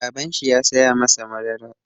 Babanshi ya saya masa madara.